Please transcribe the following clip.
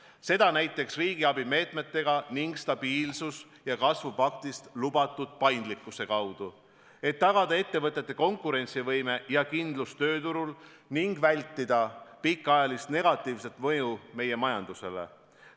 Seda saab teha näiteks riigiabi meetmetega ning stabiilsuse ja kasvu paktis lubatud paindlikkuse abil, et tagada ettevõtete konkurentsivõime ja kindlus tööturul ning vältida pikaajalist negatiivset mõju meie majandusele.